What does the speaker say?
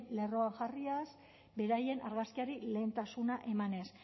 lerroan jarriaz beraien argazkiri lehentasuna emanez